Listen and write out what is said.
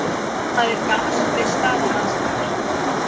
það er gas við staðalaðstæður